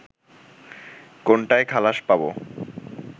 কোনটায় খালাস পাবো